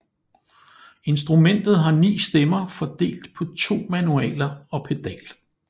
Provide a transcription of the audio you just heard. Instrumentet har 9 stemmer fordelt på to manualer og pedal